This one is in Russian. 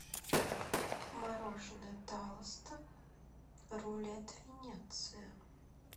мороженое талосто рулет венеция